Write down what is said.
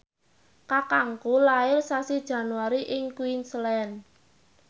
kakangku lair sasi Januari ing Queensland